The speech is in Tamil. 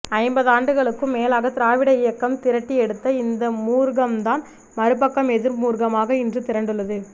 ஐம்பதாண்டுகளுக்கும் மேலாக திராவிட இயக்கம் திரட்டி எடுத்த இந்த மூர்க்கம்தான் மறுபக்கம் எதிர்மூர்க்கமாக இன்று திரண்டுள்ளது